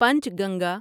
پنچ Ganga